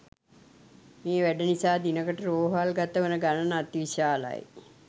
මේ වැඩ නිසා දිනකට රෝහල් ගතවන ගනන අති විශාලයි.